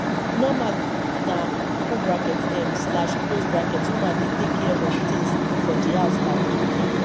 normally na open bracket um slash close bracket woman dey take care of things for di house like cooking